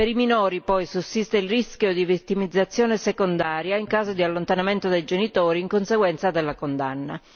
Per i minori, poi, sussiste il rischio di vittimizzazione secondaria in caso di allontanamento dai genitori in conseguenza della condanna.